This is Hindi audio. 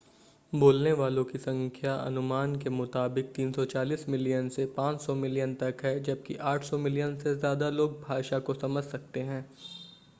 बोलने वालों की संख्या अनुमान के मुताबिक 340 मिलियन से 500 मिलियन तक है जबकि 800 मिलियन से ज़्यादा लोग भाषा को समझ सकते हैं